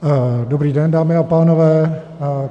Dobrý den, dámy a pánové.